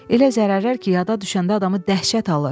Elə zərərlər ki, yada düşəndə adamı dəhşət alır.